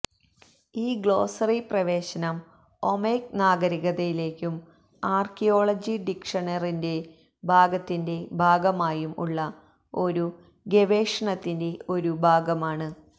ഈ ഗ്ലോസ്സറി പ്രവേശനം ഒമ്മേക് നാഗരികതയിലേക്കും ആർക്കിയോളജി ഡിക്ഷണറിൻറെ ഭാഗത്തിന്റെ ഭാഗമായും ഉള്ള ഒരു ഗവേഷണത്തിന്റെ ഒരു ഭാഗമാണ്